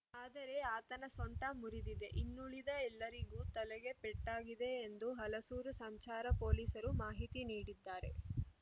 ಆದರೆ ಆತನ ಸೊಂಟ ಮುರಿದಿದೆ ಇನ್ನುಳಿದ ಎಲ್ಲರಿಗೂ ತಲೆಗೆ ಪೆಟ್ಟಾಗಿದೆ ಎಂದು ಹಲಸೂರು ಸಂಚಾರ ಪೊಲೀಸರು ಮಾಹಿತಿ ನೀಡಿದ್ದಾರೆ